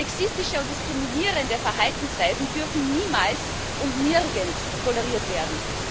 Sexistische und diskriminierende Verhaltensweisen dürfen niemals und nirgends toleriert werden.